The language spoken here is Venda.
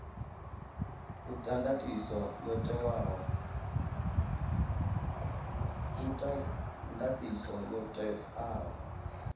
u ta ndatiso yo teaho